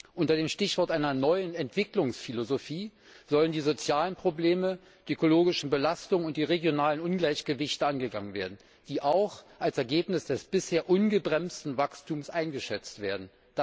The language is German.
Unter dem Stichwort einer neuen Entwicklungsphilosophie sollen die sozialen Probleme, die ökologischen Belastungen und die regionalen Ungleichgewichte angegangen werden, die auch als Ergebnis des bisher ungebremsten Wachstums eingeschätzt werden.